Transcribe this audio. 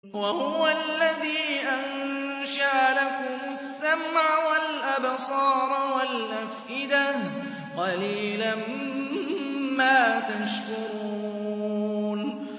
وَهُوَ الَّذِي أَنشَأَ لَكُمُ السَّمْعَ وَالْأَبْصَارَ وَالْأَفْئِدَةَ ۚ قَلِيلًا مَّا تَشْكُرُونَ